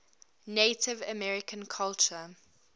native american culture